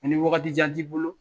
Ko ni waagati jan t'i bolo